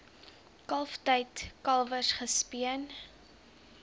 kalftyd kalwers gespeen